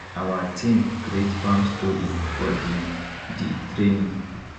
awa team create farm story for di di training